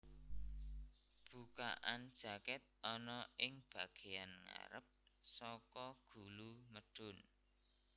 Bukaan jakèt ana ing bagéyan ngarep saka gulu medhun